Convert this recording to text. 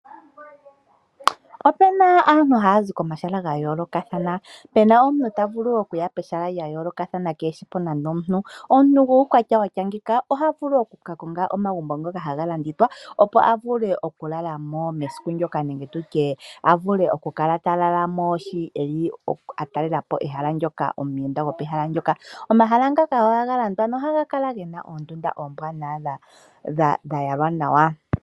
Ope na aantu haya zi komahala ga yoolokathana. Pu na omuntu ta vulu okuya pehala lya yoolokathana kee shi po nando omuntu. Omuntu guukwatya wa tya ngeyika oha vulu oku ka konga omagumbo ngoka haga hiilwa, opo a vule okulala mo mesiku ndyoka nenge a vule okukala ta lala mo shi ta talele po ehala ndyoka ; omuyenda pehala mpoka. Omahala ngaka ohaga landwa nohaga kala ge na oondunda dha yalwa nawa.